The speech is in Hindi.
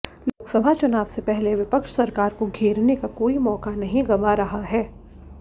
लोकसभा चुनाव से पहले विपक्ष सरकार को घेरने का कोई मौका नहीं गंवा रहा है